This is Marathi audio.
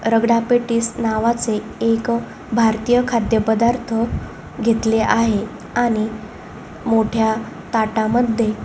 रगडा पॅटीस नावाचे एक भारतीय खाद्य पदार्थ घेतले आहे आणि मोठ्या ताटा मध्ये--